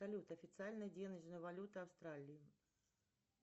салют официальная денежная валюта австралии